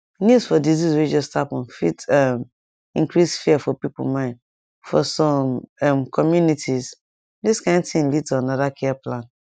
news for disease way just happen fit um increase fear for people mind for some um communitiesthis kind thing lead to another care plan